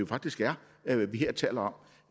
faktisk er vi her taler om